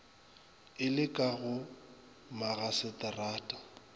e le ka go magaseterata